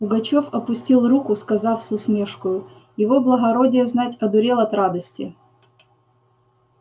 пугачёв опустил руку сказав с усмешкою его благородие знать одурел от радости